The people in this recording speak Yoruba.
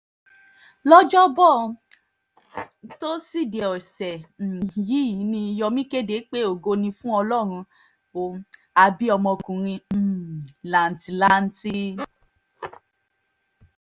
lọ́jọ́bọ́ tọ́sídẹ̀ẹ́ ọ̀sẹ̀ um yìí ni yomi kéde pé ògo ni fún ọlọ́run ó á bí ọmọkùnrin um làǹtìlanti